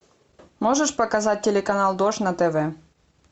можешь показать телеканал дождь на тв